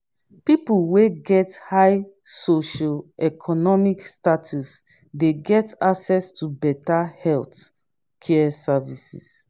pipo wey get high socio-economic status de get access to better health care service